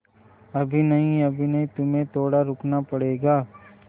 अभी नहीं अभी नहीं तुम्हें थोड़ा रुकना पड़ेगा